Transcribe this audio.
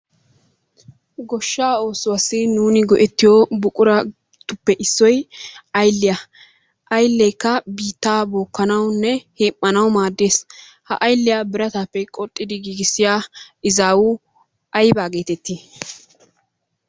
Goshsha oosuwassi nuun go"etriyo buquraruppe issoy ayliyaa. Aylekka biittaa bookanawunne hem"anawu maaddees. Ha ayliyakka biratappe qoxxidi giigissiya izzawu aybba getetti?